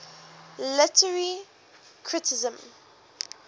literary criticism